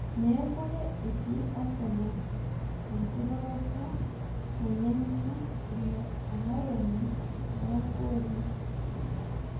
Mekure etii Arsenal enkiroroto nainyang'unyie ilo ang'oronu loo gooli